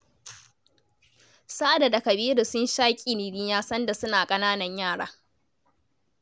Sada da Kabiru sun sha ƙiriniya sanda suna ƙananan yara.